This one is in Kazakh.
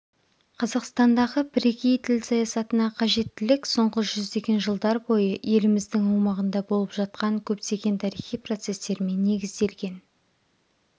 қазақстандағы бірегей тіл саясатына қажеттілік соңғы жүздеген жылдар бойы еліміздің аумағында болып жатқан көптеген тарихи процестермен негізделген